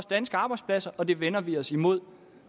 danske arbejdspladser og det vender vi os imod